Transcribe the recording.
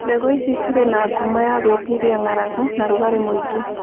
Mbegũ ici cirĩ na ngumo ya gwĩtiria ng'aragu na rugarĩ mũingĩ.